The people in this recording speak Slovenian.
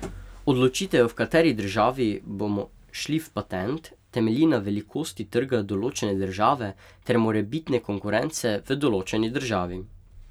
Odločitev, v kateri državi bomo šli v patent, temelji na velikosti trga določene države ter morebitne konkurence v določeni državi.